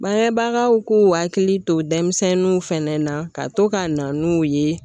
Bangebagaw k'u hakili to denmisɛnninw fɛnɛ na ka to ka na n'u ye